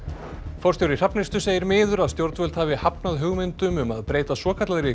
forstjóri Hrafnistu segir miður að stjórnvöld hafi hafnað hugmyndum um að breyta svokallaðri